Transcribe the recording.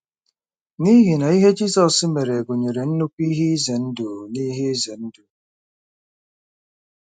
N'ihi na ihe Jizọs mere gụnyere nnukwu ihe ize ndụ na ihe ize ndụ.